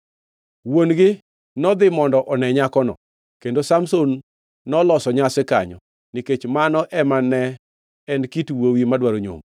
Wuon-gi nodhi mondo one nyakono. Kendo Samson noloso nyasi kanyo, nikech mano ema ne en kit wuowi madwaro nyombo.